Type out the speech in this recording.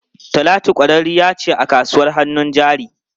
Talatu kwararriya ce a kasuwar hannun jari.